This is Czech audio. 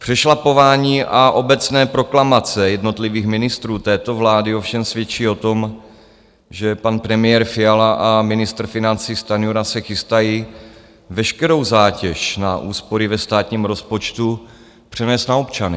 Přešlapování a obecné proklamace jednotlivých ministrů této vlády ovšem svědčí o tom, že pan premiér Fiala a ministr financí Stanjura se chystají veškerou zátěž na úspory ve státním rozpočtu přenést na občany.